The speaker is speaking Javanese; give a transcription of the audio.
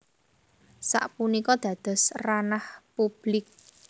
Sapunika dados ranah publik